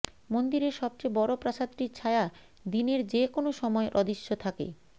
মন্দিরের সবচেয়ে বড় প্রাসাদটির ছায়া দিনের যে কোনও সময় অদৃশ্য থাকে